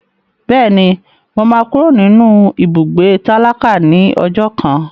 Bẹ́ẹ̀ni, mo máa kúrò nínú ibùgbé tálákà ní ọjọ́ kan.